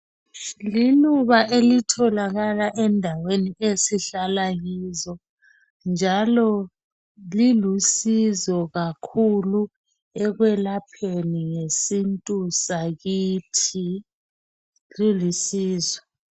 Liluba elitholakala endaweni esihlala kizo njalo lilusizo kakhulu ekwelapheni ngesintu sakithi. Lilusizo.